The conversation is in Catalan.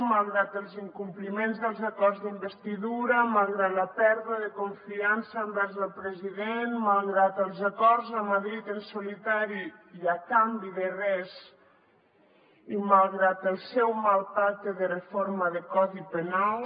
malgrat els incompliments dels acords d’investidura malgrat la pèrdua de confiança envers el president malgrat els acords amb madrid en solitari i a canvi de res i malgrat el seu mal pacte de reforma del codi penal